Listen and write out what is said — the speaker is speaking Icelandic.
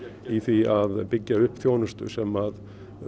í því að byggja upp þjónustu sem